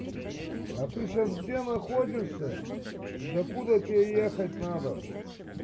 а ты сейчас где находишься и до куда тебе ехать надо